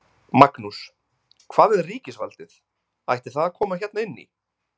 Magnús: Hvað með ríkisvaldið, ætti það að koma hérna inn í?